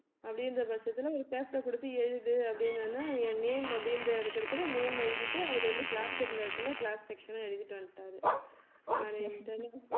அப்படின்ற பட்சத்துல ஒரு paper அ கொடுத்து எழுது அப்படின்ன உடனே என் name அப்படின்ற இருக்குற இடத்துல name எழுதிட்டு அவர் வந்து class இருந்த இடத்துல class section எழுதிட்டு வந்துட்டாரு